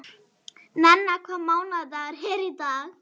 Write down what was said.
Nenna, hvaða mánaðardagur er í dag?